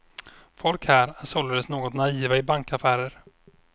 Folk här är således något naiva i bankaffärer.